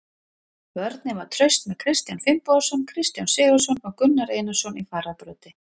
Vörnin var traust með Kristján Finnbogason, Kristján Sigurðsson og Gunnar Einarsson í fararbroddi.